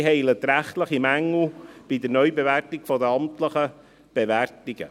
Sie heilt rechtliche Mängel bei der Neubewertung der amtlichen Bewertungen.